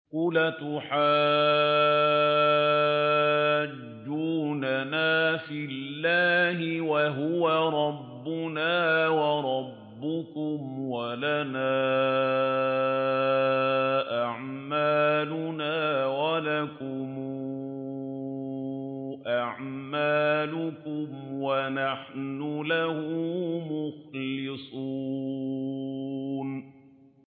قُلْ أَتُحَاجُّونَنَا فِي اللَّهِ وَهُوَ رَبُّنَا وَرَبُّكُمْ وَلَنَا أَعْمَالُنَا وَلَكُمْ أَعْمَالُكُمْ وَنَحْنُ لَهُ مُخْلِصُونَ